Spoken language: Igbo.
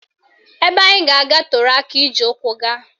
Ebe anyị ga-aga toro aka iji ụkwụ gaa